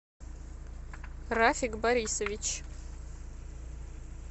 рафик борисович